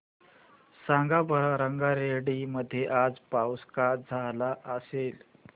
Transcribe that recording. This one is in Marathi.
सांगा बरं रंगारेड्डी मध्ये आज पाऊस का झाला असेल